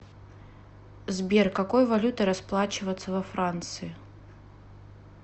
сбер какой валютой расплачиваться во франции